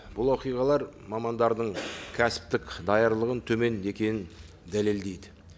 бұл оқиғалар мамандардың кәсіптік даярлығының төмен екенін дәлелдейді